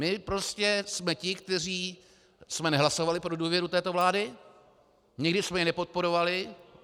My prostě jsme ti, kteří jsme nehlasovali pro důvěru této vlády, nikdy jsme ji nepodporovali.